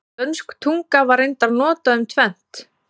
Dönsk tunga var reyndar notað um tvennt.